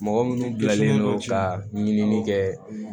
Mɔgɔ minnu gilanlen don ka ɲini kɛ